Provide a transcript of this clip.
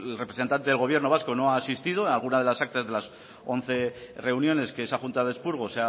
representante del gobierno vasco no ha asistido en alguna de las actas de las once reuniones que esa junta de expurgo